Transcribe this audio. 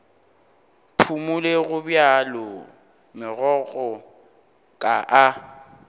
phumole gobjalo megokgo ka a